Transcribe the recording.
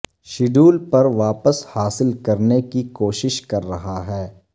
schedule پر واپس حاصل کرنے کی کوشش کر رہا ہے